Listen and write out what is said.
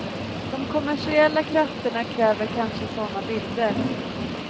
De kommersiella krafterna kräver kanske sådana bilder.